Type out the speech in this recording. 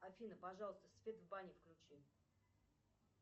афина пожалуйста свет в бане включи